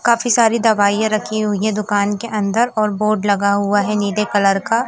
काफी सारी दवाइयां रखी हुई है दुकान के अंदर और बोर्ड लगा हुआ है नीले कलर का।